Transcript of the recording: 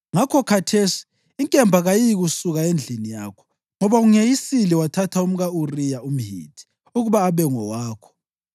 Ngakho, khathesi, inkemba kayiyikusuka endlini yakho, ngoba ungeyisile wathatha umka-Uriya umHithi ukuba abe ngowakho.’